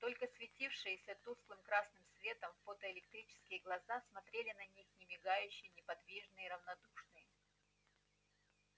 только светившиеся тусклым красным светом фотоэлектрические глаза смотрели на них немигающие неподвижные равнодушные